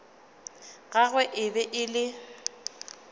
gagwe e be e le